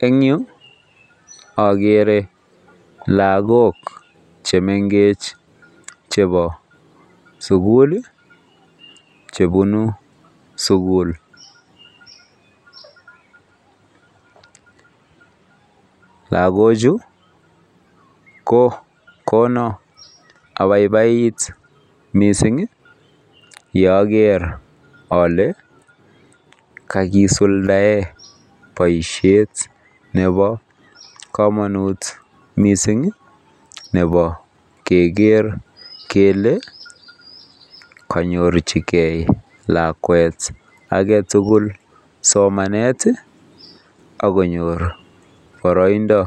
En Yu agere logoek chemengechen chebo sukul chebunu sukul lagok Chu ko Kona abaibait mising Yager Kole kakisuldaen baishet Nebo kamanut mising Nebo keger kele konyorchigei lakwet agetugul somanet akonyor baraindo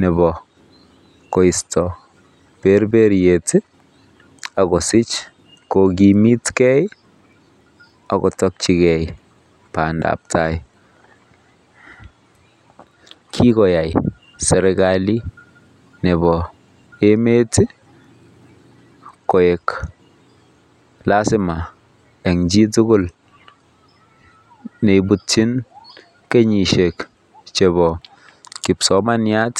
Nebo koristo. Berbeyet akosich kokimit gei akotarchigei bandab tai kikoyai serikali Nebo emet koik lasima en chitugul neibutin kenyishek ab kipsomaniat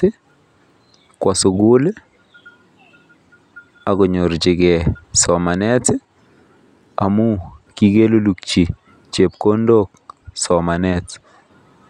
Kwa sugul akonyorchigei somanet amun kikeluluki somanet